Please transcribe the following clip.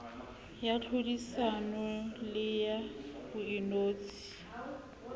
ya tlhodisano le ya boinotshi